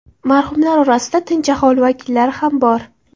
Marhumlar orasida tinch aholi vakillari ham bor.